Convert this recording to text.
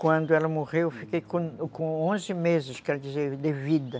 Quando ela morreu, eu fiquei com com onze meses, quer dizer, de vida.